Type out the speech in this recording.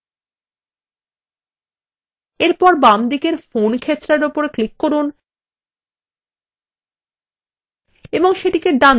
এরপর বামদিকের ফোন ক্ষেত্রের উপর ক্লিক করুন এবং সেটিকে ডান দিকে সরিয়ে নিয়ে যান